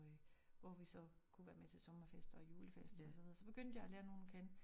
Øh hvor vi så kunne være med til sommerfester og julefester og sådan noget så begyndte jeg at lære nogen at kende